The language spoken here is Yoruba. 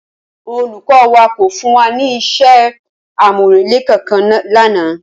Olùkó wa kò fún wa ní isé àmúrelé kankan lánàá